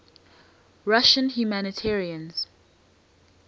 russian humanitarians